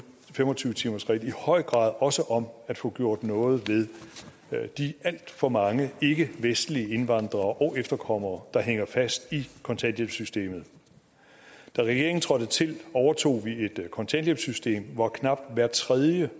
fem og tyve timersreglen i høj grad også om at få gjort noget ved de alt for mange ikkevestlige indvandrere og efterkommere der hænger fast i kontanthjælpssystemet da regeringen trådte til overtog den et kontanthjælpssystem hvor knap hver tredje